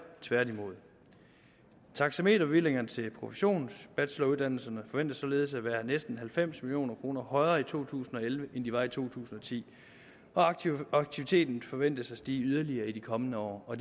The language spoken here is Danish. tværtimod taxameterbevillingerne til professionsbacheloruddannelserne forventes således at være næsten halvfems million kroner højere i to tusind og elleve end de var i to tusind og ti og aktiviteten forventes at stige yderligere i de kommende år og